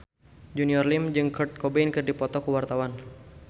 Junior Liem jeung Kurt Cobain keur dipoto ku wartawan